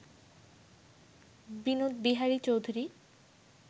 Binod Bihari Chowdhury